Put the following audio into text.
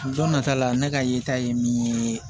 Don nata la ne ka yeta ye min ye